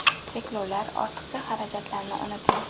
Cheklovlar, ortiqcha xarajatlarni unuting!